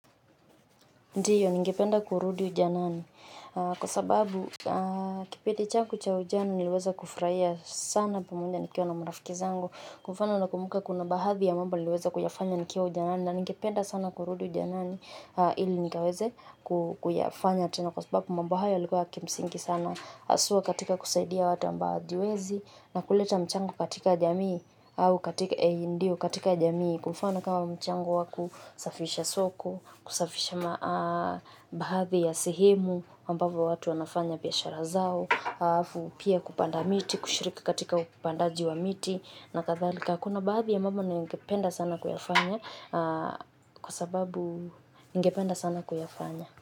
Ndiyo, ningependa kurudi ujanani kwa sababu, kipindi changu cha ujana nilweza kufraia sana pamoja nikiwa na marafiki zangu. Kwa mfano nakumbuka kuna baadhi ya mambo niliweza kuyafanya nikiwa ujanani na ningependa sana kurudi ujanani ili nikaweze kuyafanya. Na kwa sababu mambo hayo yalikuwa ya kimsingi sana haswa katika kusaidia watu ambao hawajiwezi na kuleta mchango katika jamii au katika ndio katika jamii kwa mfano kama mchango wa kusafisha soko, kusafisha maa baadhi ya sehemu ambapo watu wanafanya biashara zao, hafu pia kupanda miti, kushiriki katika upandaji wa miti na kathalika kuna baadhi ya mambo ningependa sana kuyafanya kwa sababu ningependa sana kuyafanya.